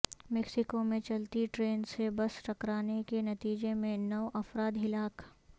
Mexico میں چلتی train سے بس ٹکرانے کے نتیجے میں نو افراد ہلاک